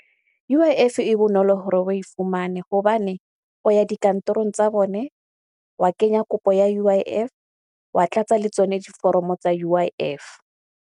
U_I_F e bonolo hore we fumane hobane, o ya dikantorong tsa bone, wa kenya kopo ya U_I_F wa tlatsa le tsone diforomo tsa U_I_F.